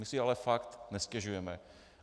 My si ale fakt nestěžujeme.